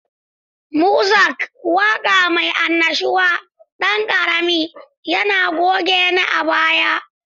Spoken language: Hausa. Muzak, waƙa mai annashuwa, ɗan ƙarami, yana gunaguni a baya.